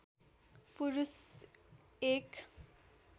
पुरुष एक